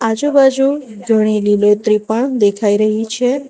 આજુબાજુ ઘણી લીલોતરી પણ દેખાઈ રહી છે.